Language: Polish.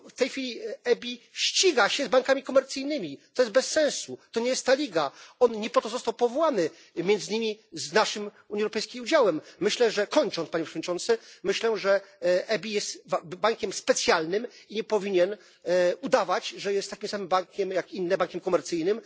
W tej chwili EBI ściga się z bankami komercyjnymi to jest bez sensu, to nie jest ta liga, on nie po to został powołany, między innymi z naszym Unii Europejskiej udziałem. Myślę, że kończąc, Panie Przewodniczący myślę, że EBI jest bankiem specjalnym i nie powinien udawać, że jest takim samym bankiem, jak inne, bankiem komercyjnym.